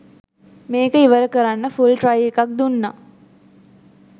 මේක ඉවර කරන්න ෆුල් ට්‍රයි එකක් දුන්න.